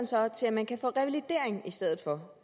så til at man kan få revalidering i stedet for